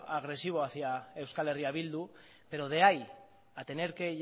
agresivo hacia euskal herria bildu pero de ahí a tener que